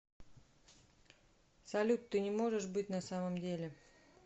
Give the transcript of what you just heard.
салют ты не можешь быть на самом деле